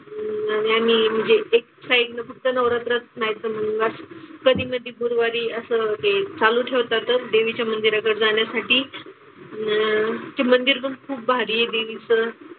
आणि आम्ही म्हणजे एक साईडनं फक्त नवरात्रच नाही तर मग जात, कधी मधी गुरुवारी असं ते चालू ठेवतातच देवीच्या मंदीराकडे जाण्यासाठी. अन ते मंदिर पण खूप भारी आहे देवीचं.